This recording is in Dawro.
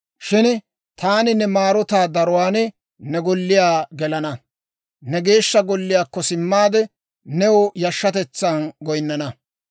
Shin taani ne maarotaa daruwaan ne golliyaa gelana. Ne Geeshsha Golliyaakko simmaade, new yashshatetsan goyinnana.